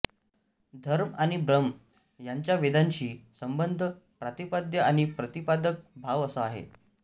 धर्म आणि ब्रह्म यांचा वेदांशी संबंध प्रतिपाद्य आणि प्रतिपादक भाव असा आहे